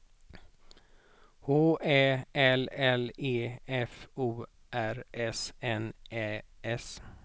H Ä L L E F O R S N Ä S